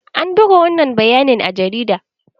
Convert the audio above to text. An buga wannan bayanin a jarida?